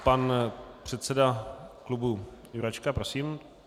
Pan předseda klubu Jurečka, prosím.